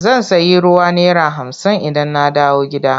Zan sayi ruwa naira hamsin idan na dawo gida.